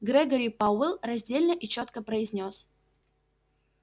грегори пауэлл раздельно и чётко произнёс